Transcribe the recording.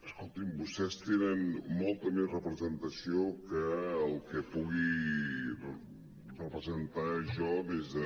escolti’m vostès tenen mol·ta més representació que el que pugui representar jo des de